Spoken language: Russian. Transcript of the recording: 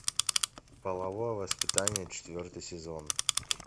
половое воспитание четвертый сезон